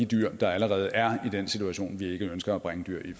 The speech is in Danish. dyr der allerede er i den situation vi ikke ønsker at bringe dyr i